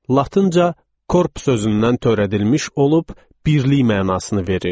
Latınca korpus sözündən törədilmiş olub birlik mənasını verir.